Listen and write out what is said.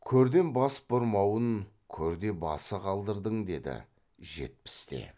көрден бас бұрмауын көрде басы қалдырдың деді жетпіс те